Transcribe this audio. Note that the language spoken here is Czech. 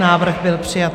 Návrh byl přijat.